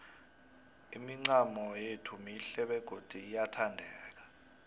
imincamo yethu mihle begodu iyathandeka